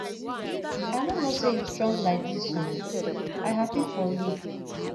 i no know say you strong like dis oo i happy for you